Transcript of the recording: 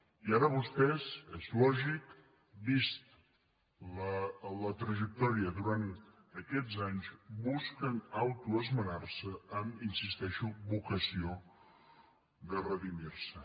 i ara vostès és lògic vista la trajectòria durant aquests anys busquen autoesmenar·se amb hi insistei·xo vocació de redimir·se